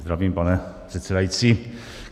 Zdravím, pane předsedající.